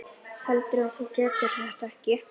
Heldurðu að þú getir þetta ekki?